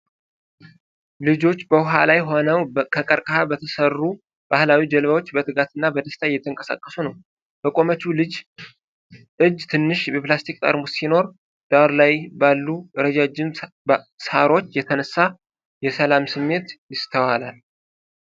ልጆች በውሃ ላይ ሆነው ከቀርቀሃ በተሠሩ ባህላዊ ጀልባዎች በትጋትና በደስታ እየተንቀሳቀሱ ነው። በቆመችው ልጅ እጅ ትንሽ የፕላስቲክ ጠርሙስ ሲኖር፣ ዳር ላይ ባሉ ረጃጅም ሳሮች የተነሳ የሰላም ስሜት ይስተዋላል።